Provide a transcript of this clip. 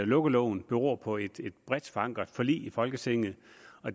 lukkeloven beror på et bredt forankret forlig i folketinget